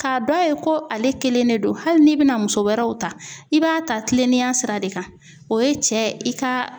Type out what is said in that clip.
K'a dɔn a ye ko ale kelen de don ,hali n'i bɛna muso wɛrɛw ta ,i b'a ta kilennenya sira de kan, o ye cɛ i ka